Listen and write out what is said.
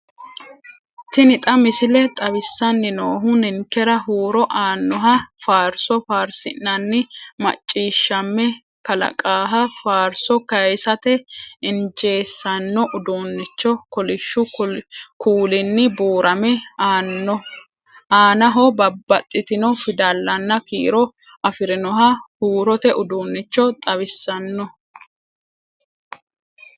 Xa tini missile xawissanni noohu ninkera huuro aannoha, faarsoo faarsinanni macciishshamme kalaqaaha, faarso kayiisate injeessanno uduunnicho; kolishshu kuulinni buurame aanaho babbaxxitino fidallanna kiiro afirinoha huurote uduunnicho xawissanno.